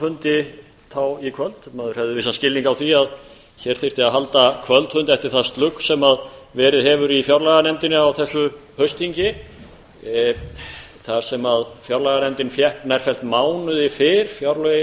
fundi í kvöld maður hefur vissan skilning á því að hér þyrfti að halda kvöldfund eftir það slugs sem verið hefur í fjárlaganefndinni á þessu haustþingi þar sem fjárlganefndin fékk nærfellt mánuði fyrr fjárlögin